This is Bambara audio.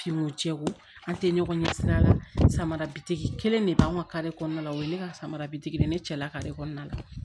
Finw jɛkulu an tɛ ɲɔgɔn ɲɛ sira la samarabi kelen de b'an ka kɔnɔna la o ye ne ka samarabi de ye ne cɛla kare kɔnɔna la